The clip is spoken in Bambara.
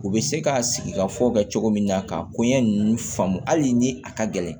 U bɛ se ka sigi ka fɔ ka cogo min na ka koɲɛ ninnu faamu hali ni a ka gɛlɛn